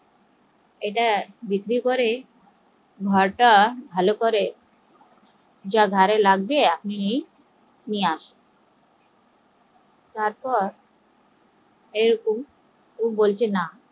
ইটা বিক্রি করে ঘরটা ভালো করে ঘরে যা লাগবে আপনি নিন তারপর এরকম ও বলছে না